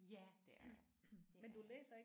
Ja det er jeg det er jeg